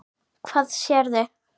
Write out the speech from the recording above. Hvað sérðu?